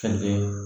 Fɛnkɛ